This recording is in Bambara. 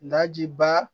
Nga ji ba